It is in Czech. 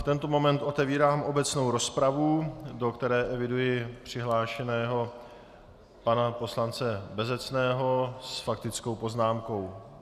V tento moment otevírám obecnou rozpravu, do které eviduji přihlášeného pana poslance Bezecného s faktickou poznámkou.